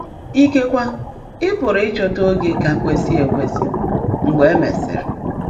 Íkèkwe ị́ pụ́rụ́ ị́chọ́tá óge kà kwèsị́ èkwèsị́ mgbe é meèsị́rị́.